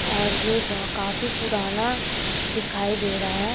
और ये ब काफी पुराना दिखाई दे रहा है।